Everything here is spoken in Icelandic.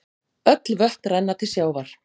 Öll vötn renna til sjávar.